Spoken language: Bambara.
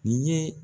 Nin ye